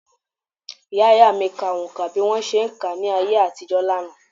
Ìyá - ìyá mi ka oǹkà bí wọn ṣe ń kà á ní ayé àtijọ́ lánàá